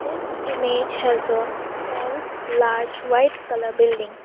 this image has a tall large white colour building.